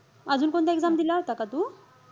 अजून कोणत्या exam दिल्या होता का तू?